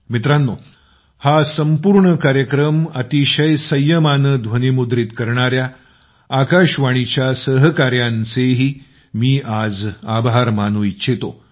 मित्रांनो हा संपूर्ण कार्यक्रम अतिशय संयमाने ध्वनिमुद्रित करणाऱ्या आकाशवाणीच्या सहकाऱ्यांचेही मी आज आभार मानू इच्छितो